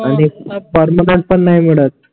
permanent पण नाही मिळत